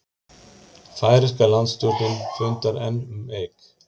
Færeyska landstjórnin fundar enn um Eik